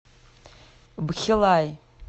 бхилаи